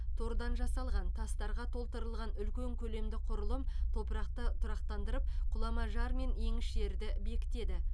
тордан жасалған тастарға толтырылған үлкен көлемді құрылым топырақты тұрақтандырып құлама жар мен еңіс жерді бекітеді